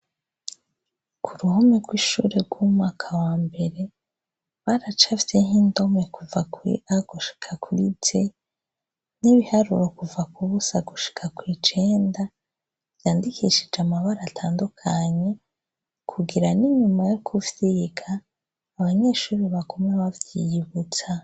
Ku ruhome rw'ishure ry'umwaka wa mbere baracafyeho indome kuva Kur a gushika kuri z.N'ibiharuro kuva kubusa gushika kw'icenda, vyandikishije amabara atandukanye kugira n'inyuma yo kuvyiga, abanyeshure bagume bavyiyibutsa.